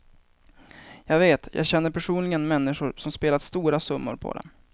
Jag vet, jag känner personligen människor som spelat stora summor på dem.